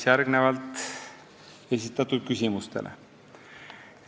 Järgnevalt vastan esitatud küsimustele.